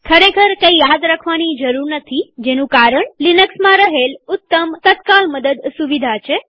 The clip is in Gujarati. ખરેખર કંઈ યાદ રાખવાની જરૂર નથીજેનું કારણ લિનક્સમાં રહેલ ઉત્તમ તત્કાલ મદદ સુવિધા છે